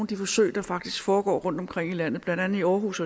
de forsøg der faktisk foregår rundtomkring i landet blandt andet i aarhus